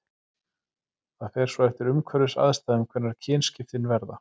Það fer svo eftir umhverfisaðstæðum hvenær kynskiptin verða.